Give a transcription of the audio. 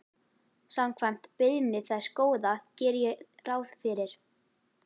Samkvæmt beiðni þess Góða geri ég ráð fyrir.